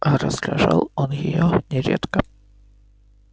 а раздражал он её нередко